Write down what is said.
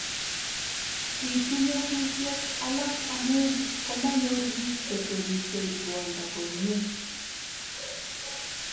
bituu nyasusiet alak amu komanyor biik chekwerishei ruondo komnyei